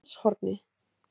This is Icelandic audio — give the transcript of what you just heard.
Garðshorni